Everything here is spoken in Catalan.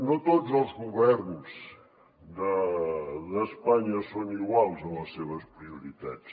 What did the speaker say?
no tots els governs d’espanya són iguals en les seves prioritats